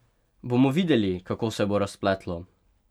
Bomo videli, kako se bo razpletlo?